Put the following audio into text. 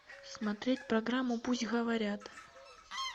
смотреть программу пусть говорят